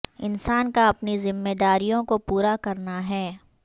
انسان کا اپنی ذمہ داریوں کو پورا کرنا ہے